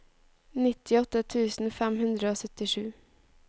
nittiåtte tusen fem hundre og syttisju